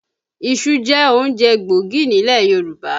Iṣu jẹ́ oúnjẹ kan gbòógì nílẹ̀ Yorùbá